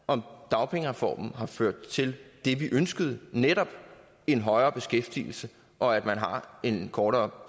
om dagpengereformen har ført til det vi ønskede nemlig en højere beskæftigelse og at man har en kortere